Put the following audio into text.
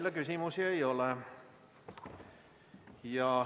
Teile küsimusi ei ole.